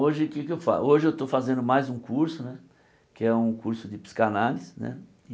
Hoje o que é que eu fa hoje eu estou fazendo mais um curso né, que é um curso de psicanálise né.